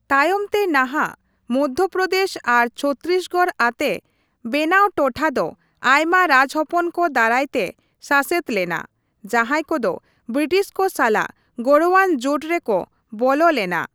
ᱛᱟᱭᱚᱢ ᱛᱮ ᱱᱟᱦᱟᱜ ᱢᱚᱫᱫᱷᱚᱯᱚᱨᱫᱮᱥ ᱟᱨ ᱪᱷᱚᱛᱨᱤᱥᱜᱚᱲ ᱟᱛᱮ ᱢᱮᱱᱟᱣ ᱴᱚᱴᱷᱟ ᱫᱚ ᱟᱭᱢᱟ ᱨᱟᱡᱽᱦᱚᱯᱚᱱ ᱠᱚ ᱫᱟᱨᱟᱭᱛᱮ ᱥᱟᱥᱮᱛ ᱞᱮᱱᱟ, ᱡᱟᱸᱦᱟᱭ ᱠᱚᱫᱚ ᱵᱨᱤᱴᱤᱥ ᱠᱚ ᱥᱟᱞᱟᱜ ᱜᱚᱲᱚᱣᱟᱱ ᱡᱳᱴ ᱨᱮᱠᱚ ᱵᱚᱞᱚ ᱞᱮᱱᱟ ᱾